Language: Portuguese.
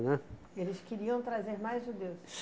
Eles queriam trazer mais judeus?